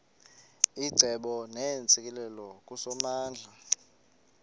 icebo neentsikelelo kusomandla